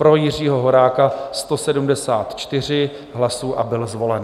Pro Jiřího Horáka 174 hlasů a byl zvolen.